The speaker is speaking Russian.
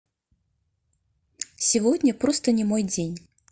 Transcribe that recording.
сегодня просто не мой день